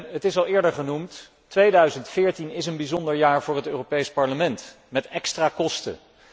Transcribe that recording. Het is al eerder gezegd, 2014 is een bijzonder jaar voor het Europees Parlement, met extra kosten.